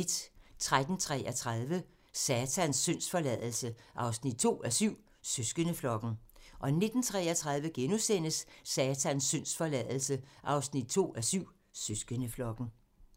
13:33: Satans syndsforladelse 2:7 – Søsterflokken 19:33: Satans syndsforladelse 2:7 – Søsterflokken *